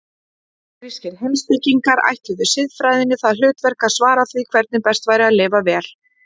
Forngrískir heimspekingar ætluðu siðfræðinni það hlutverk að svara því hvernig best væri að lifa vel.